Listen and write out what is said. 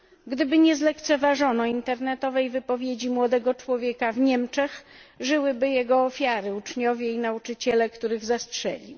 Gdyby nie zlekceważono internetowej wypowiedzi młodego człowieka w Niemczech, żyłyby jego ofiary uczniowie i nauczyciele, których zastrzelił.